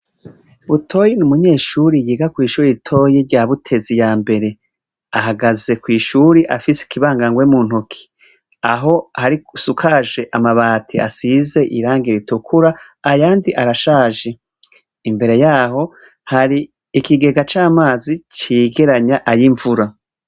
Butoyi n'umunyeshure yiga kw'ishure ritoya rya Butezi yambere. Ahagaze kw'ishure afise ikibangangwe muntoke, aho hasukaje amabati asize Irangi ritukura ayandi arashaje. Imbere yaho hari ikigega c'amazi cegeranya ay'imvura.